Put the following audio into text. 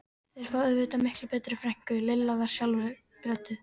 Þeir fá auðvitað miklu betri frænku, Lilla var skjálfrödduð.